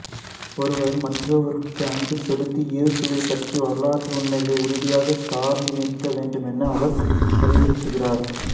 ஒருவர் மற்றவருக்கு அன்பு செலுத்தி இயேசுவைப் பற்றிய வரலாற்று உண்மைகளை உறுதியாகச் சார்ந்து நிற்க வேண்டும் என அவர் அறிவுறுத்துகிறார்